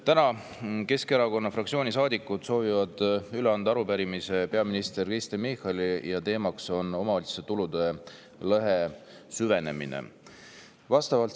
Täna soovivad Keskerakonna fraktsiooni saadikud anda üle arupärimise peaminister Kristen Michalile, teemaks on omavalitsuste tulude lõhe süvenemine.